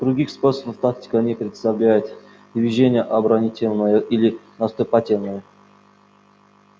других способов тактика не представляет движение оборонительное или наступательное